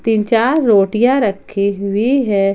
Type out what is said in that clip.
तीन चार रोटियां रखी हुई है।